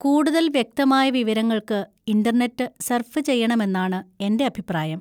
കൂടുതൽ വ്യക്തമായ വിവരങ്ങൾക്ക് ഇന്‍റർനെറ്റ് സർഫ് ചെയ്യണമെന്നാണ് എന്‍റെ അഭിപ്രായം.